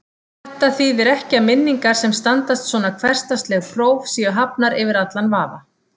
Þetta þýðir ekki að minningar sem standast svona hversdagsleg próf séu hafnar yfir allan vafa.